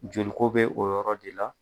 Joliko bɛ o yɔrɔ de la.